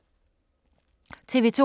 TV 2